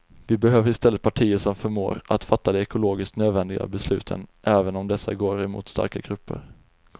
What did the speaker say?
Vi behöver i stället partier som förmår att fatta de ekologiskt nödvändiga besluten även om dessa går mot starka grupper.